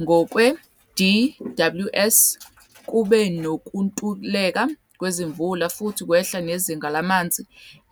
Ngokwe-DWS kube nokuntuleka kwezimvula futhi kwehla nezinga lamanzi